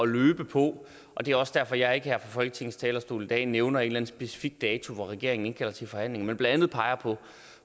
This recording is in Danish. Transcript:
løbe på og det er også derfor jeg ikke her fra folketingets talerstol i dag nævner en specifik dato hvor regeringen indkalder til forhandlinger men blandt andet peger på